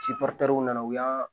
nana u y'an